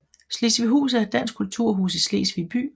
Slesvighus er et dansk kulturhus i Slesvig by